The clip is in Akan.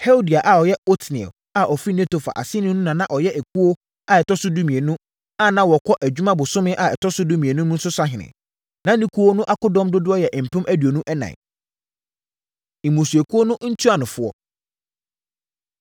Heldai a ɔyɛ Otniel a ɔfiri Netofa aseni no na na ɔyɛ ekuo a ɛtɔ so dumienu, a na wɔkɔ adwuma bosome a ɛtɔ so dumienu mu no so sahene. Na ne ekuo no akodɔm dodoɔ yɛ mpem aduonu ɛnan (24,000). Mmusuakuo No Ntuanofoɔ